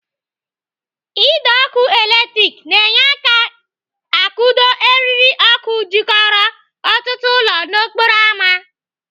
Ide ọkụ latrik na-enye aka akwụdo eriri ọkụ jikọrọ ọtụtụ ụlọ n'okporo ámá.